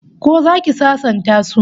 Ko zaki sasanta su?